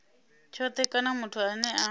tshothe kana muthu ane a